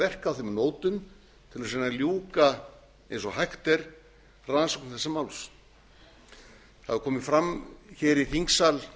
verka á þeim nótum til þess að reyna að ljúka eins og hægt er rannsókn þessa máls það hefur komið fram hér í þingsal